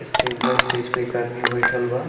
Stage बा stage पे एक आदमी बईठल बा।